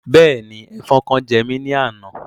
Bẹ́ẹ̀ni, Ẹfọn kan jẹ́ mi ni àna